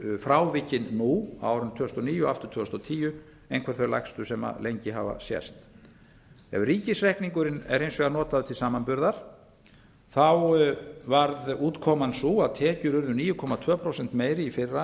eru frávikin nú á árinu tvö þúsund og níu og aftur tvö þúsund og tíu einhver þau lægstu sem lengi hafa sést ef ríkisreikningurinn er hins vegar notaður til samanburðar varð útkoman sú að tekjur urðu níu komma tveimur prósentum meiri